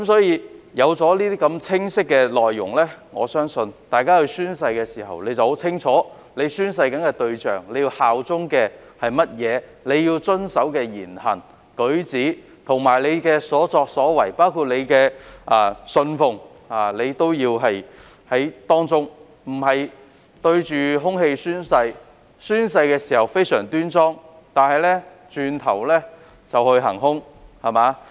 有了這些清晰的內容，我相信大家宣誓時會很清楚宣誓的對象、要效忠的是甚麼、要遵守的言行、舉止、所作所為，以及所信奉的是甚麼，而不是對着空氣宣誓，亦不會只在宣誓時非常端莊，但轉頭便去"行兇"。